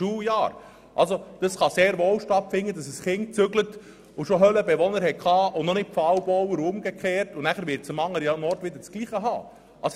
Es kann sehr wohl sein, dass ein Kind umzieht und in der alten Schule die Höhlenbewohner schon behandelt hat, doch am neuen Wohnort kommen diese erst später an die Reihe, sodass es dieses Thema zweimal behandelt.